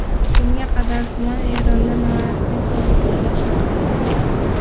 Bunga qadar tuman Eronda norasmiy pul birligi hisoblangan.